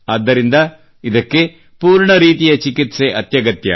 ಆದ್ದರಿಂದ ಇದಕ್ಕೆ ಪೂರ್ಣ ರೀತಿಯ ಚಿಕಿತ್ಸೆ ಅತ್ಯಗತ್ಯ